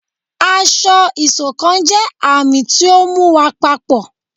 ásọ̀-ìsokán jẹ àmì ti ọ mú wá papọ